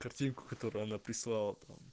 картинку которую она прислала там